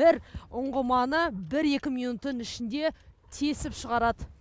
бір ұңғыманы бір екі минуттың ішінде тесіп шығарады